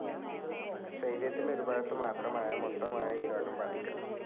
ശരീരത്തിൻ്റെ ഒരു ഭാഗത്ത് മാത്രമായോ മൊത്തമായോ ഈ രോഗം ബാധിക്കാം.